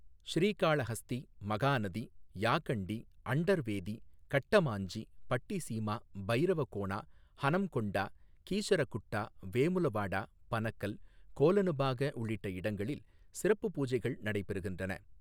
ஸ்ரீகாளஹஸ்தி, மகாநதி, யாகண்டி, அண்டர்வேதி, கட்டமாஞ்சி, பட்டிசீமா, பைரவகோனா, ஹனம்கொண்டா, கீசரகுட்டா, வேமுலவாடா, பனகல், கோலனுபாக உள்ளிட்ட இடங்களில் சிறப்பு பூஜைகள் நடைபெறுகின்றன.